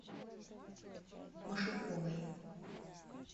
машуковой